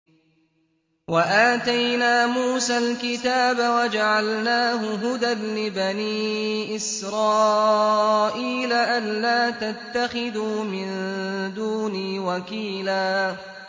وَآتَيْنَا مُوسَى الْكِتَابَ وَجَعَلْنَاهُ هُدًى لِّبَنِي إِسْرَائِيلَ أَلَّا تَتَّخِذُوا مِن دُونِي وَكِيلًا